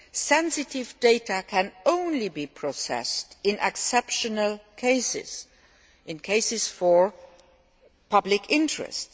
Sensitive data can only be processed in exceptional cases, in cases of public interest